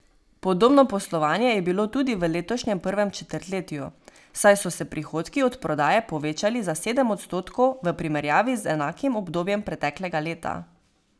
Podobno poslovanje je bilo tudi v letošnjem prvem četrtletju, saj so se prihodki od prodaje povečali za sedem odstotkov v primerjavi z enakim obdobjem preteklega leta.